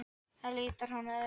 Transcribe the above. Það litar hann öðru fremur.